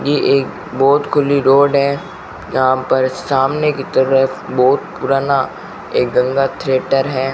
ये एक बहोत खुली रोड है यहां पर सामने की तरफ बहुत पुराना एक गंगा थियेटर है।